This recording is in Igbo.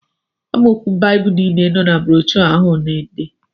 Amaokwu Baịbụl niile nọ na broshọ ahụ na-ede